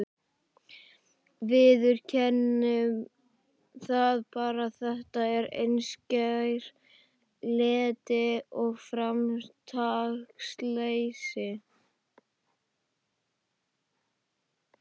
Viðurkennum það bara, þetta er einskær leti og framtaksleysi.